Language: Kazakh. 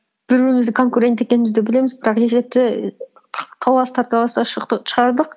бір бірімізді конкурент екенімізді білеміз бірақ есепті шығардық